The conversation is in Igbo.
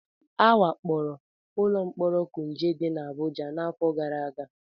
A wakporo ụlọ mkpọrọ kuje dị n'Abụja n'afọ gara aga